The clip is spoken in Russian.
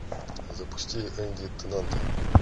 запусти энди тенанта